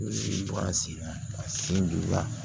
sin na ka sin diya